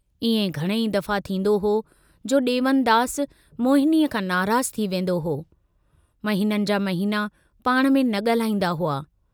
इएं घणेई दफ़ा थींदो हो जो दे॒वनदास मोहिनीअ खां नाराज़ु थी वेन्दो हो, महिननि जा महिना पाण में न गाल्हाईंदा हुआ।